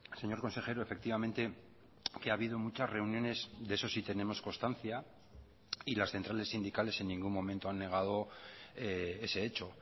señor consejero efectivamente que ha habido muchas reuniones de eso sí tenemos constancia y las centrales sindicales en ningún momento han negado ese hecho